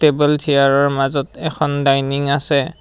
Table চিয়াৰৰ মাজত এখন ডাইনিং আছে।